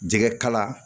Jɛgɛ kala